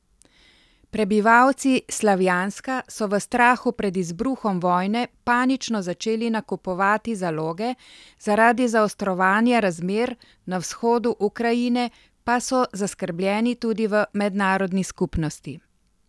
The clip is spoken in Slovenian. Prebivalci Slavjanska so v strahu pred izbruhom vojne panično začeli nakupovati zaloge, zaradi zaostrovanja razmer na vzhodu Ukrajine pa so zaskrbljeni tudi v mednarodni skupnosti.